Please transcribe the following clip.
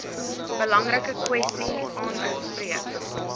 belangrike kwessie aanspreek